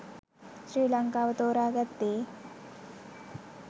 ශ්‍රී ලංකාව තෝරා ගත්තේ